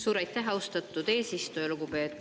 Suur aitäh, austatud eesistuja!